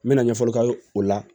N mɛna ɲɛfɔli k'aw ye o la